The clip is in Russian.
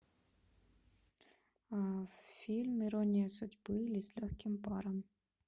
фильм ирония судьбы или с легким паром